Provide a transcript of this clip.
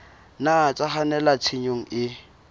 nna tsa kgannela tshenyong e